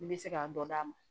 I bɛ se k'a dɔ d'a ma